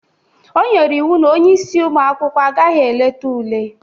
O nyere iwu na onye isi ụmụ akwụkwọ agaghị eleta ule!